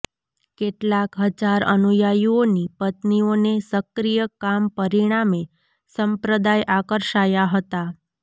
કેટલાક હજાર અનુયાયીઓની પત્નીઓને સક્રિય કામ પરિણામે સંપ્રદાય આકર્ષાયા હતા